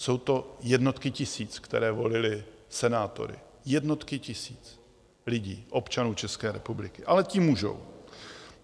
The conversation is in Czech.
Jsou to jednotky tisíc, které volily senátory, jednotky tisíc lidí, občanů České republiky, ale ti můžou.